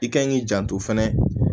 I kan k'i janto fɛnɛ